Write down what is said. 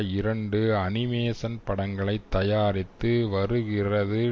இரண்டு அனிமேஷன் படங்களை தயாரித்து வருகிறது